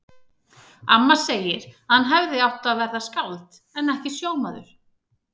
Amma segir að hann hefði átt að verða skáld en ekki sjómaður.